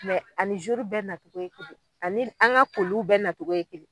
ani bɛɛ nacogo ye kelen, ani an ŋa koliw bɛɛ natogo ye kelen